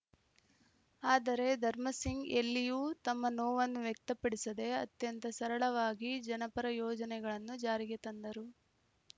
ಆದರೆ ಧರ್ಮಸಿಂಗ್‌ ಎಲ್ಲಿಯೂ ತಮ್ಮ ನೋವನ್ನು ವ್ಯಕ್ತಪಡಿಸದೆ ಅತ್ಯಂತ ಸರಳವಾಗಿ ಜನಪರ ಯೋಜನೆಗಳನ್ನು ಜಾರಿಗೆ ತಂದರು